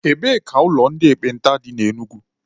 Ebee ka ụlọ ndị ekpenta dị na Enugu?